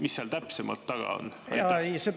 Mis seal täpsemalt taga on?